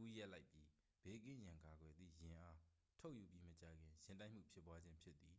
ဦးရပ်လိုက်ပြီး ဘေးကင်းရန်ကာကွယ်သည့် ယာဉ်အား ထုတ်ယူပြီးမကြာခင် ယာဉ်တိုက်မှုဖြစ်ပွားခြင်း ဖြစ်သည်